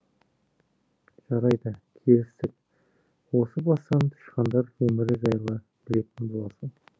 жарайды келістік осы бастан тышқандар өмірі жайлы білетін боласың